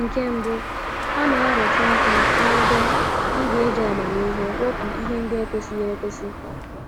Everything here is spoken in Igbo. Nke mbụ, ha na - arụtụ aka n’ebe ị ga-iji amamihe wepụ ihe ndi ekwesighi ekwesi.